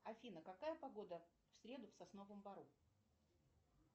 афина какая погода в среду в сосновом бору